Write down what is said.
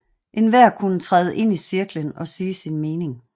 Enhver kunne træde ind i cirklen og sige sin mening